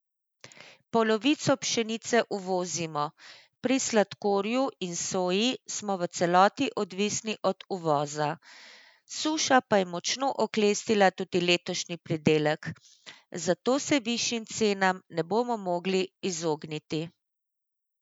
Polovico pšenice uvozimo, pri sladkorju in soji smo v celoti odvisni od uvoza, suša pa je močno oklestila tudi letošnji pridelek, zato se višjim cenam ne bomo mogli izogniti.